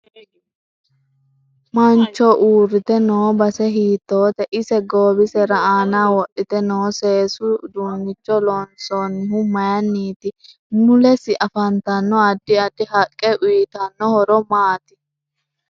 Mancho uurite noo base hiitoote ise goowise aana wodhite noo seesu uduunnicho loonsoonihu mayiiniti mulese afantanno addi addi haqqe uyiitano horo maati